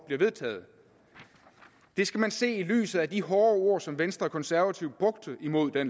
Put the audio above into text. bliver vedtaget det skal man se i lyset af de hårde ord som venstre og de konservative brugte imod det